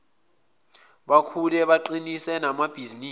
bakhule baqinise namabhizinisi